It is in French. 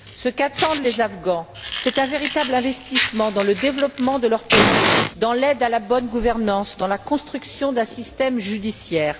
Ce qu'attendent les Afghans, c'est un véritable investissement dans le développement de leur pays, dans l'aide à la bonne gouvernance, dans la construction d'un système judiciaire.